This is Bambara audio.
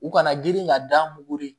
U kana girin ka da mugu ye